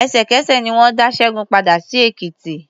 Ẹ̀sẹ̀kẹsẹ̀ ni wọ́n dá Ṣẹ́gun padà sí Èkìtì.